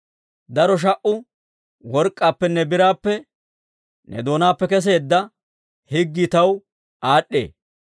Daro sha"u work'k'aappenne biraappe, ne doonaappe keseedda higgii taw aad'd'ee.